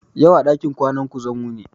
Yau a ɗakin ƙwana ku zan wuni